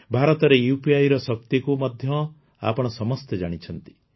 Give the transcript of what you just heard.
ଭାରତରେ UPIର ଶକ୍ତିକୁ ମଧ୍ୟ ଆପଣ ସମସ୍ତେ ଜାଣିଛନ୍ତି